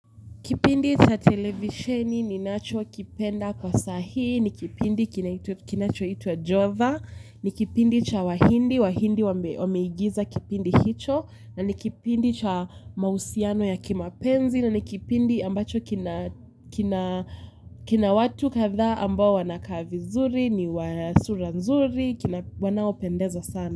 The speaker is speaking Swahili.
Kipindi cha televisheni ninachokipenda kwa sahii, ni kipindi kinachoitwa Jova, ni kipindi cha wahindi, wahindi wameigiza kipindi hicho, na ni kipindi cha mahusiano ya kimapenzi, na ni kipindi ambacho kina watu kadhaa ambao wanakaa vizuri, ni wa sura nzuri, wanaopendeza sana.